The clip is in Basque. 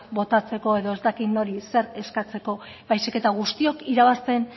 botatzeko edo ez dakit nori zer eskatzeko baizik eta guztiok irabazten